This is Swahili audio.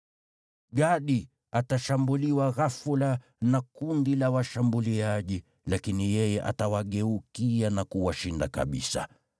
“Gadi atashambuliwa ghafula na kundi la washambuliaji, lakini yeye atawageukia na kuwashinda kabisa.